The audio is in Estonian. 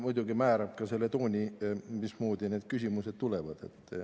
Muidugi see määrab selle tooni, mismoodi need küsimused tulevad.